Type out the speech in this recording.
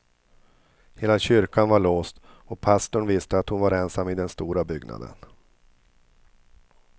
Hela kyrkan var låst och pastorn visste att hon var ensam i den stora byggnaden.